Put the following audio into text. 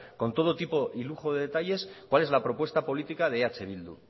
con todo tipo y lujo de detalles cuál es la propuesta política de eh bildu